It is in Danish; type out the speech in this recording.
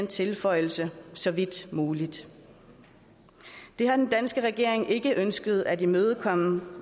tilføjelsen så vidt muligt det har den danske regering ikke ønsket at imødekomme den